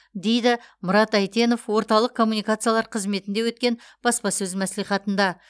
дейді мұрат әйтенов орталық коммуникациялар қызметінде өткен баспасөз мәслихатында